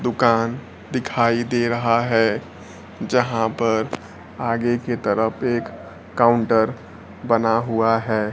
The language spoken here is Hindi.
दुकान दिखाई दे रहा है जहां पर आगे की तरफ एक काउंटर बना हुआ है।